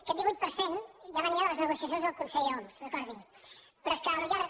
aquest divuit per cent ja venia de les negocia·cions del conseller homs recordin·ho però és que al llarg